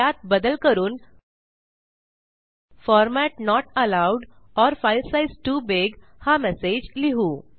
त्यात बदल करून format not allowed or file size too big हा मेसेज लिहू